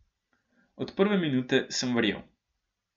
Od prve minute sem verjel.